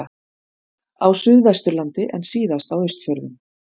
Suðvesturlandi en síðast á Austfjörðum.